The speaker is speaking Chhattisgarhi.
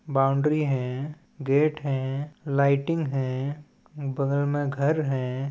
बाउंड्री है गेट है लाइटिंग है बगल में घर हैं।